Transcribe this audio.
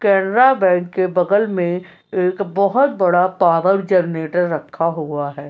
Canara bank के बगल में एक बहोत बड़ा पॉवर जनरेटर रखा हुआ है।